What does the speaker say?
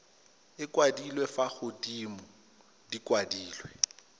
kwadilwe fa godimo di kwadilwe